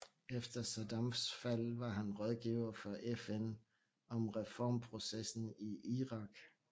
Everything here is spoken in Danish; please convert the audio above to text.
Efter Saddams fald var han rådgiver for FN om reformprocessen i Irak